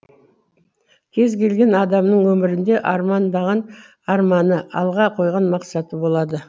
кез келген адамның өмірінде армандаған арманы алға қойған мақсаты болады